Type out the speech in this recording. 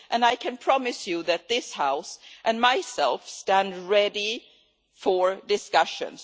I can promise you that this House and I, myself stand ready for discussions.